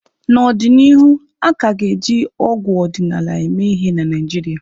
N'ọdịnihu, a ka ga-eji ọgwụ ọdịnala eme ihe na Naijiria.